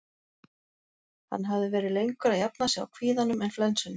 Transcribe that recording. Hann hafði verið lengur að jafna sig á kvíðanum en flensunni.